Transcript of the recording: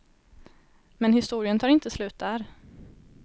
Men historien tar inte slut där.